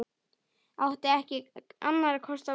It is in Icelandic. Átti ekki annarra kosta völ.